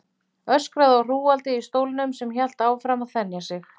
Öskraði á hrúgaldið í stólnum sem hélt áfram að þenja sig.